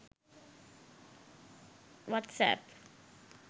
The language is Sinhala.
whatsapp